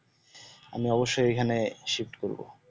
আমি অব্বশই এখানে swift করব।